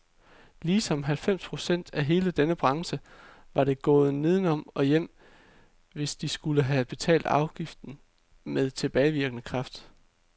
Ligesom halvfems procent af hele denne branche var de gået nedenom og hjem, hvis de skulle have betalt afgiften med tilbagevirkende kraft.